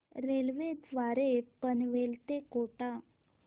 railway द्वारे पनवेल ते कोटा